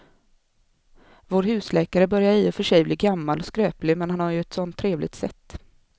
Vår husläkare börjar i och för sig bli gammal och skröplig, men han har ju ett sådant trevligt sätt!